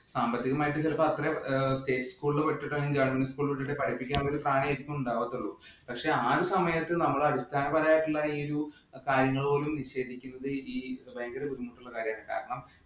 സാമ്പത്തികമായിട്ട് ചിലപ്പോ അത്ര state school ഇല്‍ govt school പഠിച്ചിട്ടാണെങ്കിലും പഠിപ്പിക്കാൻ പറ്റിയ സാഹചര്യം ഉണ്ടായിരിക്കത്തുള്ളൂ. പക്ഷേ ആ ഒരു സമയത്ത് നമ്മൾ അടിസ്ഥാനപരമായ ഒരു കാര്യങ്ങൾ പോലും നിഷേധിക്കുന്നത് ഭയങ്കര ബുദ്ധിമുട്ടുള്ള കാര്യമാണ്. കാരണം,